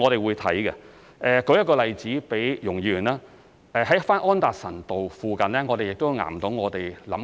為容議員提供一個例子，在安達臣道附近，我們也在考慮做岩洞。